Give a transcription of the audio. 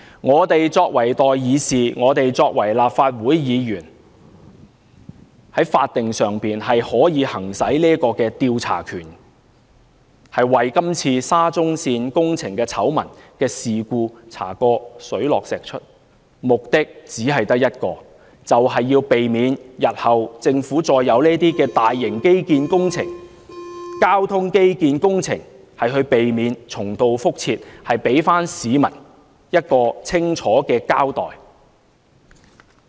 我們作為代議士，作為立法會議員，可以行使法定的調查權，把今次沙中線工程的醜聞事故查個水落石出，目的只有一個，就是避免日後政府再有這類大型基建工程、交通基建工程時重蹈覆轍，給市民一個清楚的交代。